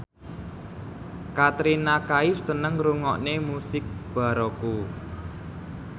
Katrina Kaif seneng ngrungokne musik baroque